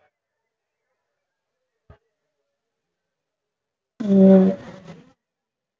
உம்